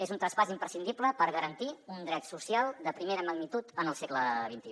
és un traspàs imprescindible per garantir un dret social de primera magnitud en el segle xxi